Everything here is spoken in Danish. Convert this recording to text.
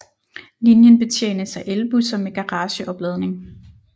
Linjen betjenes af elbusser med garageopladning